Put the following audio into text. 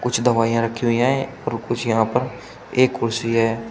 कुछ दवाइयां रखी हुई हैं और कुछ यहां पर एक कुर्सी है।